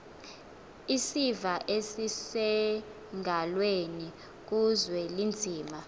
isiva esisengalweni kuzwelinzima